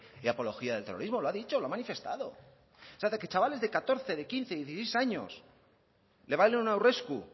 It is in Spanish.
ni apología del terrorismo lo ha dicho lo ha manifestado chavales de catorce de quince dieciséis años le baile un aurresku